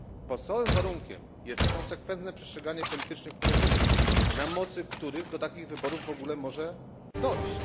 Podstawowym warunkiem jest konsekwentne przestrzeganie politycznych porozumień, na mocy których do takich wyborów może w ogóle dojść.